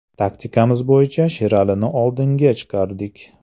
Taktikamiz bo‘yicha Sheralini oldinga chiqardik.